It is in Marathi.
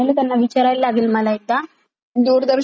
दूरदर्शन वरच्या सातच्या बातम्य ऐका तुम्ही खूप मस्त आहेत.